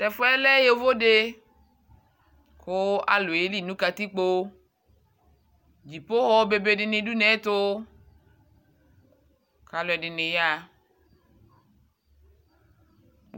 Tʊ ɛfʊ yɛ lɛ ɛtʊfue ali, kʊ alʊ yeli nʊ katikpo, avakʊtɛ be bdɩnɩ dʊ une yɛ ɛtʊ, kʊ alʊɛdɩnɩ yaɣa,